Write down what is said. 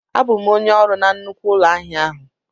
Abụ m onye ọrụ na nnukwu ụlọ ahịa a.